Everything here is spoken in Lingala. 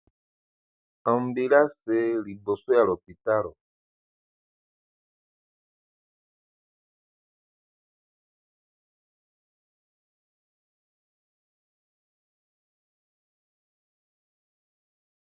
Ambulance liboso ya l'hôpitalo.